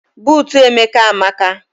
Buutu Emeka amaka.